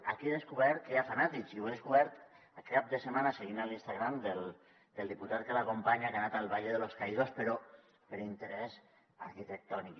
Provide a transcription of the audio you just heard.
aquí he descobert que hi ha fanàtics i ho he descobert aquest cap de setmana seguint l’instagram del diputat que l’acompanya que ha anat al valle de los caídos però per interès arquitectònic